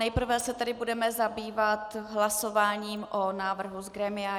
Nejprve se tedy budeme zabývat hlasováním o návrhu z grémia.